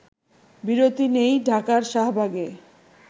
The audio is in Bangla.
বিরতি নেই ঢাকার শাহবাগে